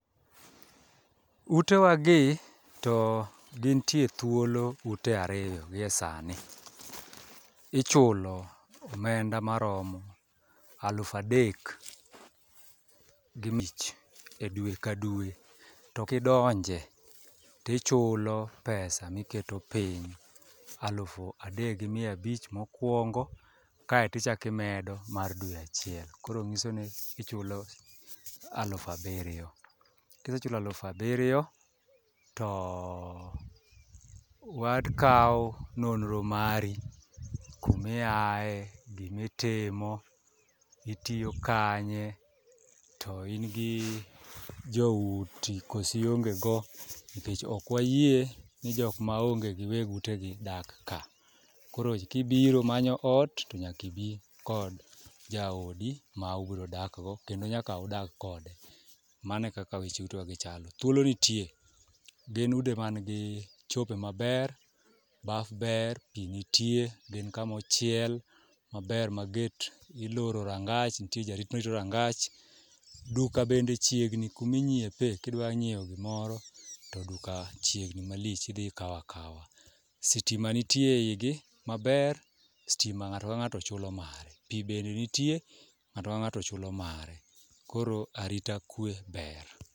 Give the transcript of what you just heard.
Utewagi to gintie thuolo ute ariyo gi e sani, ichulo omenda maromo aluf adek gi abich e dwe ka dwe to kidonje tichulo pesa miketo piny alufu adek gi mia abich mokwongo kaeto ichaki imedo mar dwe achiel koro ng'iso ni ichulo aluf abiriyo. Kisechulo aluf abiriyo to wakawo nonro mari kumiaye, gimitimo, itiyo kanye to in gi jouti kosiiongego nikech okwayie ni jokmaonge gi weg utegi dak ka, koro kibiro manyo ot to nyakibi kod jaodi ma ubrodakgo kendo nyaka udag kode, mano e kaka weche utewagi chalo. Thuolo nitie, gin udi mangi cho be maber, baf ber, pi nitie, gin kamochiel maber ma get iloro rangach, nitie jarit marito rangach, duka bende chiegni kuminyiepe kidwa nyieo gimoro to duka chiegni malich idhi ikawo akawa. Sitima nitie e igi maber, stima ng'ato ka ng'ato chulo mare, pi bende nitie, ng'ato ka ng'ato chulo mare koro arita kwe ber.